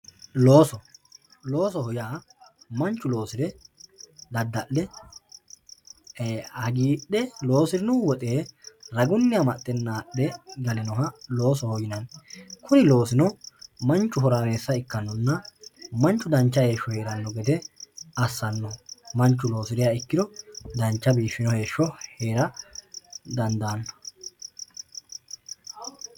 looso loosoho yaa manchu loosire dadda'le hagiidhe loosinno woxe ragunni amadhe naadhe galinoha loosaho yinanni kuni loosino manchu horaameessa ikkannonna manchu dancha heesho heeranno gede assanno manchu loosiriha ikkiro dancha biifiyoo heeshsho heera dandaanno.